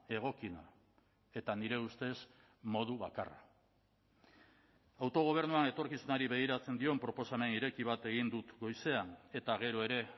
egokiena eta nire ustez modu bakarra autogobernuan etorkizunari begiratzen dion proposamen ireki bat egin dut goizean eta gero ere